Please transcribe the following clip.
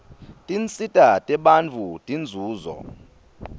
tinsita tebantfu tinzuzo